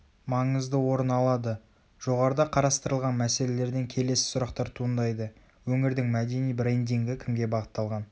маңызды орыналады.жоғарыда қарастырылған мәселелерден келесі сұрақтар туындайды өңірдің мәдени брендингі кімге бағытталған